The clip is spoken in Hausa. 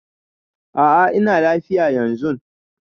A'a ina lafiya yanzun.